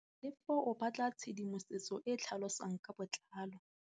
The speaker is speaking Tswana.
Tlhalefô o batla tshedimosetsô e e tlhalosang ka botlalô.